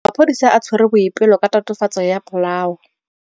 Maphodisa a tshwere Boipelo ka tatofatsô ya polaô.